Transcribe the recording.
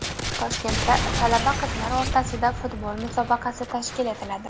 Toshkentda talaba qizlar o‘rtasida futbol musobaqasi tashkil etiladi.